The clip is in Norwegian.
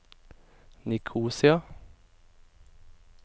Nikosia